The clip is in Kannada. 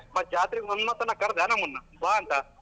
ಮತ್ತೆ ಜಾತ್ರೆಗೆ ಒಂದ್ ಮಾತಾನ ಕರ್ದ್ಯ ನಮ್ಮನ್ನ ಬಾ ಅಂತ.